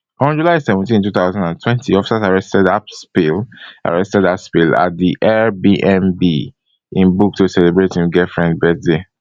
on july seventeen two thousand and twenty officers arrested haspil arrested haspil at di airbnb im book to celebrate im girlfriend birthday